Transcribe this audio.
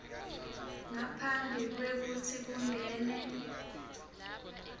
ngaphambi kwekutsi kungene